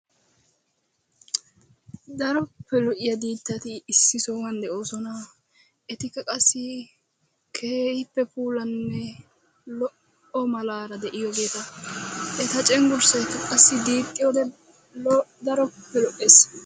Daroppe lo"iya diittati issi sohuwan de"oosona. Etikka qassi keehippe puulanne lo"o malaara de"iyogeeta. Eta cenggurssayikka qassi diixiyode daroppe lo"es.